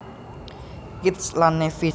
Kitts lan Nevis